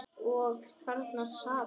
Og þarna sat hann.